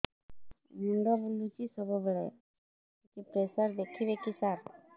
ମୁଣ୍ଡ ବୁଲୁଚି ସବୁବେଳେ ଟିକେ ପ୍ରେସର ଦେଖିବେ କି ସାର